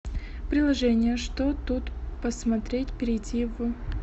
приложение что тут посмотреть перейди в